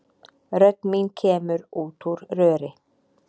Rödd mín kemur út úr röri.